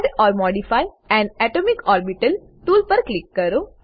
add or modify an atomic orbital tool પર click કરો